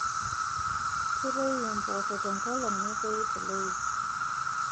Ketoyu impoosho tenkolong netoyu teloip